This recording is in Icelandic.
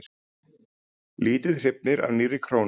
Lítið hrifnir af nýrri krónu